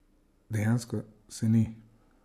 Dejansko se ni!